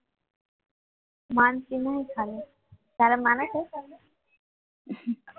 માનસિંને શું ચાલે તારે માને છે